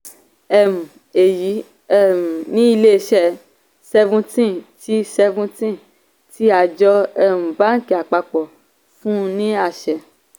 um èyí um ni ilé iṣẹ́ seventeen tí seventeen ní àjọ um bánkì àpapọ̀ fún un ní àṣẹ.